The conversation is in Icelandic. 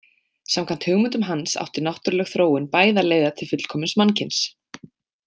Samkvæmt hugmyndum hans átti náttúruleg þróun bæði að leiða til fullkomins mannkyns.